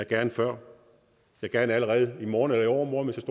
gerne før gerne allerede i morgen eller i overmorgen hvis